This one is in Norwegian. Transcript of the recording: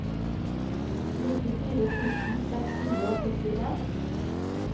nittifire tusen seks hundre og førtien